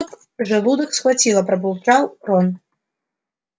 желудок схватило пробурчал рон